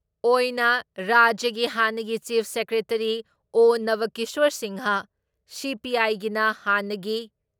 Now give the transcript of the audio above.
ꯑꯣꯏꯅ ꯔꯥꯖ꯭ꯌꯒꯤ ꯍꯥꯟꯅꯒꯤ ꯆꯤꯞ ꯁꯦꯀ꯭ꯔꯦꯇꯔꯤ ꯑꯣ. ꯅꯕꯀꯤꯁ꯭ꯋꯔ ꯁꯤꯡꯍ, ꯁꯤ.ꯄꯤ.ꯑꯥꯏꯒꯤꯅ ꯍꯥꯟꯅꯒꯤ